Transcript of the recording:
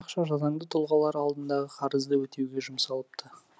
ақша заңды тұлғалар алдындағы қарызды өтеуге жұмсалыпты